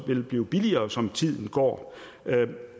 vil blive billigere som tiden går